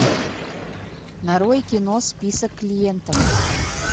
нарой кино список клиентов